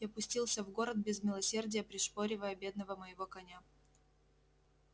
я пустился в город без милосердия пришпоривая бедного моего коня